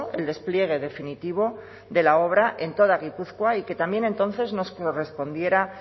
el despliegue definitivo de la obra en toda gipuzkoa y que también entonces nos correspondiera